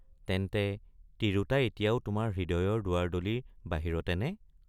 তেন্তে তিৰোতা এতিয়াও তোমাৰ হৃদয়ৰ দুৱাৰদলিৰ বাহিৰতে নে?